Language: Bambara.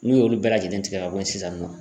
N'u y'olu bɛɛ lajɛlen tigɛ ka bɔ yen sisan nɔ